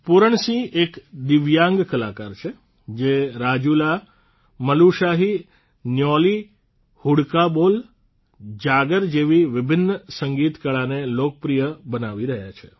પુરણસિંહ એક દિવ્યાંગ કલાકાર છે જે રાજૂલામલુશાહી ન્યૌલી હુડકા બોલ જાગર જૈવી વિભિન્ન સંગીતકળાને લોકપ્રિય બનાવી રહ્યા છે